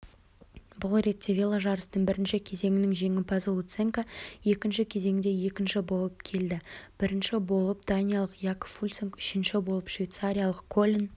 бұл ретте веложарыстың бірінші кезеңінің жеңімпазы луценко екінші кезеңде екінші болып келді бірініш болып даниялық якоб фульсанг үшінші болып швейцариялық колин